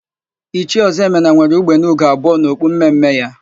Ichie Ọzọemena nwere ugbene ugo abụọ n'okpu mme mme ya.